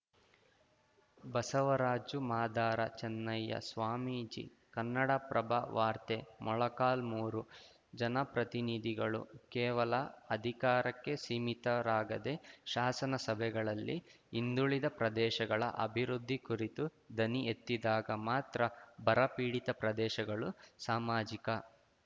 ಬಸವರಾಜು ಮಾದಾರ ಚೆನ್ನಯ್ಯ ಸ್ವಾಮೀಜಿ ಕನ್ನಡಪ್ರಭ ವಾರ್ತೆ ಮೊಳಕಾಲ್ಮುರು ಜನಪ್ರತಿನಿಧಿಗಳು ಕೇವಲ ಅಧಿಕಾರಕ್ಕೆ ಸೀಮಿತರಾಗದೆ ಶಾಸನ ಸಭೆಗಳಲ್ಲಿ ಹಿಂದುಳಿದ ಪ್ರದೇಶಗಳ ಅಭಿವೃದ್ಧಿ ಕುರಿತು ದನಿ ಎತ್ತಿದಾಗ ಮಾತ್ರ ಬರ ಪೀಡಿತ ಪ್ರದೇಶಗಳು ಸಾಮಾಜಿಕ